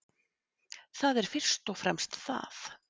Það er fyrst og fremst það